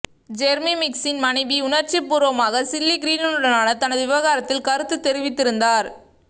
Jeremy மிக்ஸின் மனைவி உணர்ச்சிபூர்வமாக சில்லி கிரீனுடனான தனது விவகாரத்தில் கருத்து தெரிவித்திருந்தார்